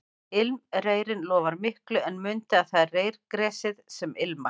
Ilmreyrinn lofar miklu en mundu að það er reyrgresið sem ilmar